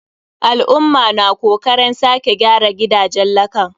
Al'umma na kokaren sake gyara gidajen lakan.